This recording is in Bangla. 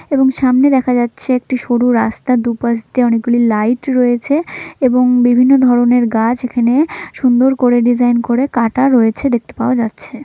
এবং সামনে দেখা যাচ্ছে একটি সরু রাস্তা দুপাশ দিয়ে অনেকগুলি লাইট রয়েছে ।এবং বিভিন্ন ধরণের গাছ এখানে সুন্দর করে ডিজাইন করে কাঁটা রয়েছেদেখতে পাওয়া যাচ্ছে ।